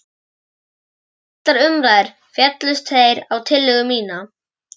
Eftir dálitlar umræður féllust þeir á tillögu mína.